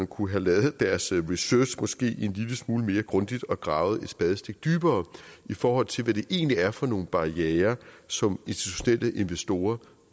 kunne have lavet deres research måske en lille smule mere grundigt og gravet et spadestik dybere i forhold til hvad det egentlig er for nogle barrierer som institutionelle investorer